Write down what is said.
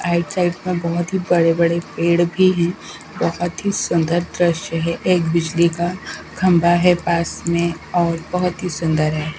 आइट side में बहोत ही बड़े-बड़े पेड़ भी हैं बहोत ही सुंदर दृश्य है एक बिजली का खंभा है पास में और बहोत ही सुंदर है।